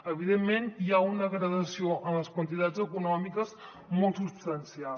evidentment hi ha una gradació en les quantitats econòmiques molt substancial